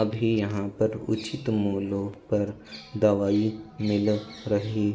अभी यहाँ पे उचित मूल्यो पर दवाई मिल रही --